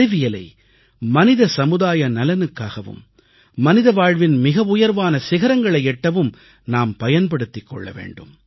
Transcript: அறிவியலை மனித சமுதாய நலனுக்காகவும் மனித வாழ்வின் மிக உயர்வான சிகரங்களை எட்டவும் நாம் பயன்படுத்திக் கொள்ளவேண்டும்